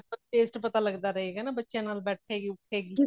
taste ਪਤਾ ਲੱਗਦਾ ਰਹੇਗਾ ਨਾ ਬੱਚਿਆ ਨਾਲ ਬੈਠੇਗੀ ਉਠੇਗੀ